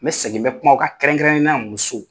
N bɛ segin , n bɛ kuma o ka kɛrɛnkɛrɛnenyala muso.